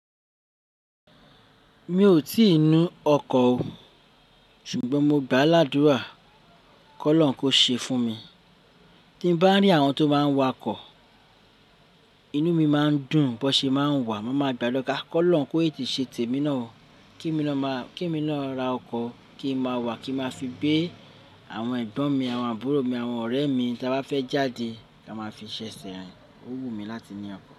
Mi ò tí ì nu ọkọ̀ o, ṣùgbọ́n mo gbà ládùrá kọ́ lọ́run kó ṣe fún mi. Tí n bá rí àwọn tó máa n wa ọkọ̀, inú mi máa ń dùn bó ṣe máa ń wà. Mo máa gbàlo ká kọ́ lọ́run kó ete ṣe tèmi náà o. Kí mi lọ máa, kí mi na ra ọkọ̀ kí n máa wà, kí n máa fi gbé àwọn ẹ̀gbọ́n mi, àwọn àbúrò mi, àwọn ọ̀rẹ́ mi tí a bá fẹ́ jáde. Ká máa fi ṣẹ̀se rin, ó wù mí láti ní ọkọ̀